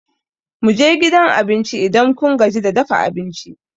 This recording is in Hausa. Mu je gidan abinci, Idan kun gaji da dafa abinci.